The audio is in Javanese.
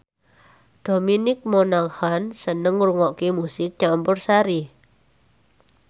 Dominic Monaghan seneng ngrungokne musik campursari